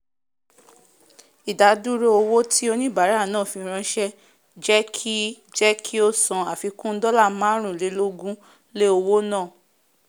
ìdádúró owó tí oníbàárà náà fi ránsẹ́ jẹ́ kí jẹ́ kí ó san àfikún dọ́la márùn- lẹ́- lógún lé owó náà